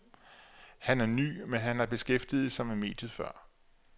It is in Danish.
Han er ny, men han har beskæftiget sig med mediet før.